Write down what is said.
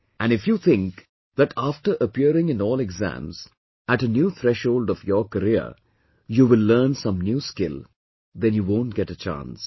And if you think that after appearing in all exams, at a new threshold of your career you will learn some new skill, then you won't get a chance